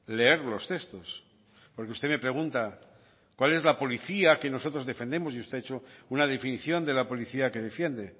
leer los textos porque usted me pregunta cuál es la policía que nosotros defendemos y usted ha hecho una definición de la policía que defiende